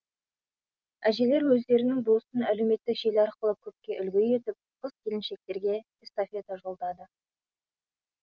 әжелер өздерінің бұл ісін әлеуметтік желі арқылы көпке үлгі етіп қыз келіншектерге эстафета жолдады